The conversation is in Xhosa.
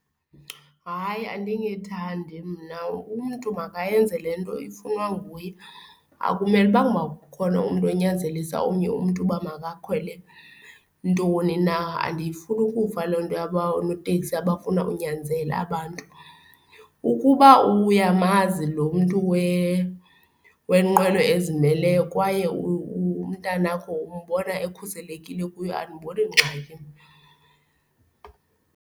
Hayi, andingethandi mna, umntu makayenze le nto ifunwa nguye. Akumele ukubanga uma ukhona umntu onyanzelisa omnye umntu uba makakhwele ntoni na. Andiyifuni ukufa loo nto yaba noteksi abafuna unyanzela abantu. Ukuba uyamazi lo mntu wenqwelo ezimeleyo kwaye umntanakho umbona ekhuselekile kuyo andiboni ngxaki mna.